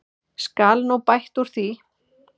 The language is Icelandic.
Skal nú bætt úr því.